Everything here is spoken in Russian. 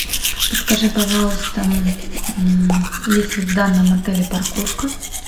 подскажи пожалуйста есть ли в данном отеле парковка